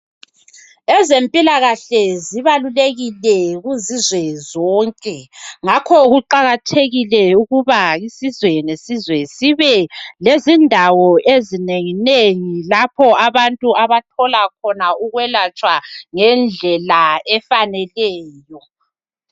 Ezempilakahle zibalulekile kuzizwe zonke ngakho kuqakathekile ukuba isizwe lesizwe sibe lezindawo ezinengi nengi lapho abantu abathola khona ukwelatshwa ngendlela efaneleyo.